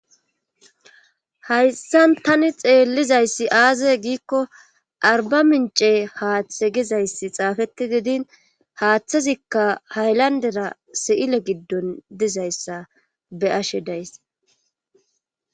Hayssan tani xeellizayssi aazay giikko arba mince haaththe gizayssi xaafeti didin haaththazikka haylandera si7ile giddon dizayssa be'ashe days.